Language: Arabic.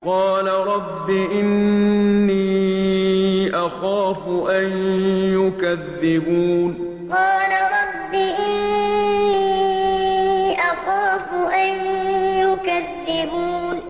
قَالَ رَبِّ إِنِّي أَخَافُ أَن يُكَذِّبُونِ قَالَ رَبِّ إِنِّي أَخَافُ أَن يُكَذِّبُونِ